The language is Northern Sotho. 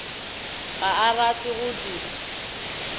ga a rate go di